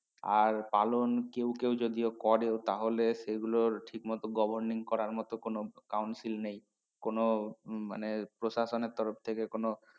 আর পালন কেও কেও যদিও করেও তাহলে সে গুলোর ঠিক মত governing করার মত কোন Council নেই কোনো মানে প্রশাসনের তরফ থেকে কোনো